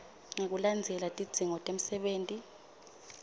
ngekulandzela tidzingo temsebenti